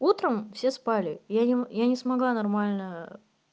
утром все спали я не я не смогла нормально